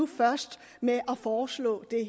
først med at foreslå det